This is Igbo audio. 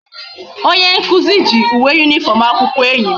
Onye nkuzu gi uwe uniform akwukwo enyi m